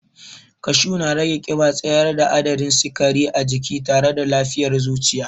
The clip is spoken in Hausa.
Kashu na rage ƙiba, tsayar da adadin sikari a jini tare da lafiyar zuciya.